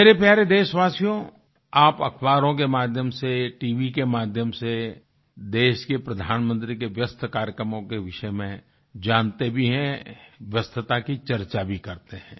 मेरे प्यारे देशवासियो आप अखबारों के माध्यम से टीवी के माध्यम से देश के प्रधानमंत्री के व्यस्त कार्यक्रमों के विषय में जानते भी हैं व्यस्तता की चर्चा भी करते हैं